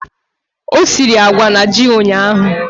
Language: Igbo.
O siri agwa na ji ụnyahụ?